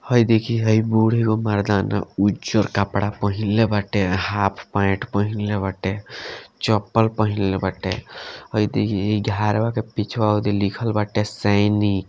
हे देखि हे बूढ़ एगो मर्दाना उजर कपड़ा पहिनले बाटे हाफ पेंट पहिनले बाटे चप्पल पहिनले बाटे हे देखि इ घरवा के पीछवा लिखल बाटे सैनिक --